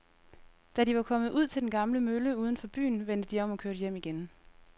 Da de var kommet ud til den gamle mølle uden for byen, vendte de om og kørte hjem igen.